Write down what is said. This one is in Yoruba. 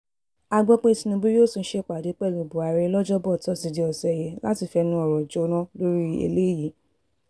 a gbọ́ pé tinubu yóò tún ṣèpàdé pẹ̀lú buhari lọ́jọ́bọ́ tosidee ọ̀sẹ̀ yìí láti fẹnu ọ̀rọ̀ jóná lórí eléyìí